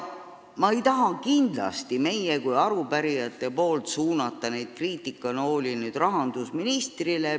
Me ei taha kindlasti arupärijatena suunata kriitikanooli rahandusministrile.